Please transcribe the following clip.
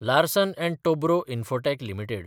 Larsen & Toubro Infotech limited